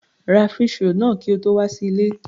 Ra fish roll náà kí o tó wà sí ilé.